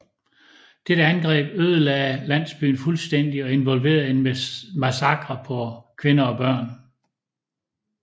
Dette angreb ødelagde landsbyen fuldstændigt og involverede en massakre på kvinder og børn